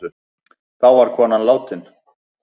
Þá var konan látin.